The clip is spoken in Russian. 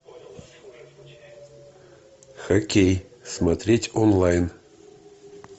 хоккей смотреть онлайн